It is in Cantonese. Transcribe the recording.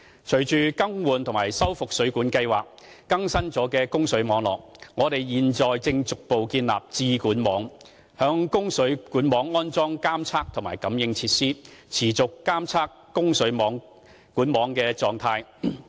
隨着"更換及修復水管計劃"更新了供水管網，我們現正逐步建立"智管網"，在供水管網安裝監測和感應設施，持續監測供水管網的狀態。